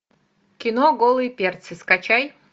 кино голые перцы скачай